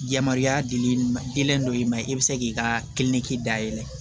Yamaruya dilen ma dɔ in ma i bɛ se k'i ka dayɛlɛ